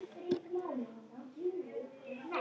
Ég bara.